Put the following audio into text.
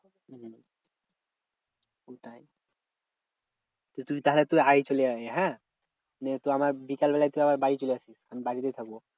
হম কোথায়? তুই তাহলে তুই আগে চলে আয় হ্যাঁ? নিয়ে তুই আমার বিকালবেলায় তুই আমার বাড়ি চলে আসিস। আমি বাড়িতেই থাকবো।